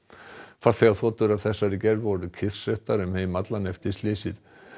farþegarþotur af þessari gerð voru kyrrsettar um heim allan eftir slysið